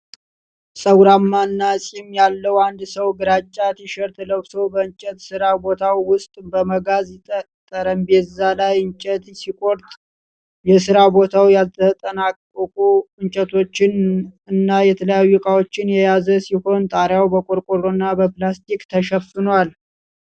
ፀጉራማ እና ፂም ያለው አንድ ሰው ግራጫ ቲሸርት ለብሶ በእንጨት ሥራ ቦታው ውስጥ በመጋዝ ጠረጴዛ ላይ እንጨት ሲቆርጥ ። የሥራ ቦታው ያልተጠናቀቁ እንጨቶችን እና የተለያዩ ዕቃዎችን የያዘ ሲሆን ጣራው በቆርቆሮና በፕላስቲክ ተሸፍኗል።